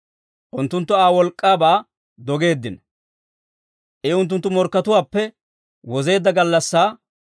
Unttunttu Aa wolk'k'aabaa dogeeddino; I unttunttu morkkatuwaappe wozeedda gallassaa,